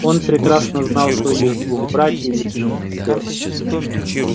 он прекрасно знал своих двух братьев и двух сестёр